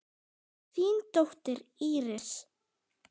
Þín dóttir, Íris.